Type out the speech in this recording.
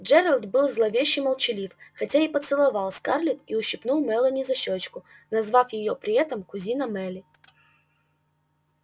джералд был зловеще молчалив хотя и поцеловал скарлетт и ущипнул мелани за щёчку назвав её при этом кузина мелли